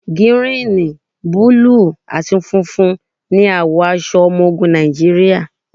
Gírìn, búlù àti funfun ní àwọ̀ aṣọ ọmọ ogun Nàìjíríà.